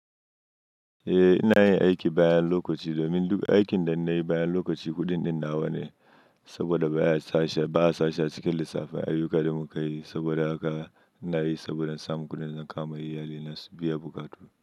Eh ina yin aiki bayan lokaci domin duk aikin da nayi bayan lokaci kuɗin ɗin nawa ne saboda ba a sashi, ba a sashi a cikin lissafin ayyukan da muka yi saboda haka ina yi saboda samun kuɗin dazan kawoma iyali na su biya buƙatu.